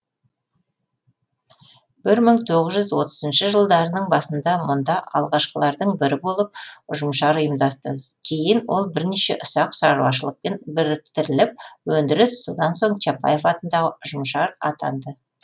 бір мың тоғыз жүз отызыншы жылдарының басында мұнда алғашқылардың бірі болып ұжымшар ұйымдасты кейін ол бірнеше ұсақ шаруашылықпен біріктіріліп өндіріс одан соң чапаев атындағы ұжымшар атанды